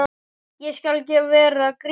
Ég skal vera Grýla.